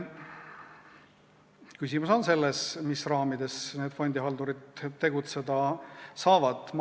Küsimus on selles, mis raamides fondihaldurid tegutseda saavad.